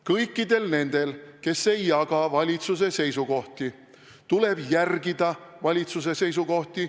Kõikidel nendel, kes ei jaga valitsuse seisukohti, tuleb aga riigiteenistuses järgida valitsuse seisukohti.